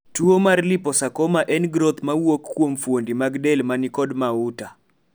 tuo mar Liposarcoma en groth ma wuok kuom fuondi mag del manikod mauta